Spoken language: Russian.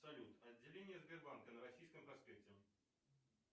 салют отделение сбербанка на российском проспекте